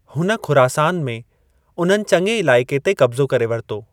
हुन खुरासान में उन्हनि चंङे इलाइक़े ते कब्ज़ो करे वरितो।